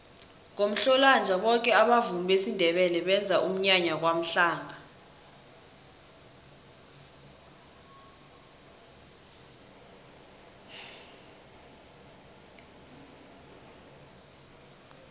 ngomhlolanja boke abavumi besindebele benza umnyanya kwamhlanga